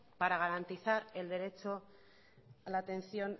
para garantizar el derecho a la atención